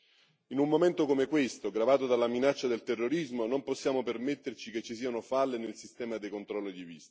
In un momento come questo, gravato dalla minaccia del terrorismo, non possiamo permetterci che ci siano falle nel sistema di controllo dei visti.